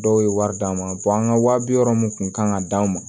Dɔw ye wari d'an ma an ka wa bi wɔɔrɔ mun kun kan ka d'anw ma